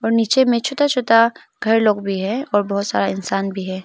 और नीचे में छोटा छोटा घर लोग भी है और बहुत सारा इंसान भी है।